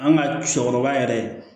An ka cɛkɔrɔba yɛrɛ